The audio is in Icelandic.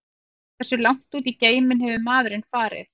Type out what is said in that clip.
Hversu langt út í geiminn hefur maðurinn farið?